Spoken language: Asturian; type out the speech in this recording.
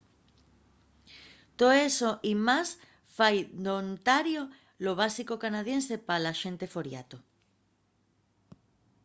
too eso y más fai d'ontario lo básico canadiense pa la xente foriato